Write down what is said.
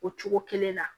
O cogo kelen na